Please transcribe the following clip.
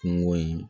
Kungo in